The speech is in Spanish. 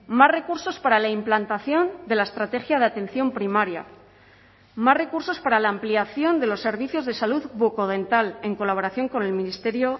más recursos para la implantación de la estrategia de atención primaria más recursos para la ampliación de los servicios de salud bucodental en colaboración con el ministerio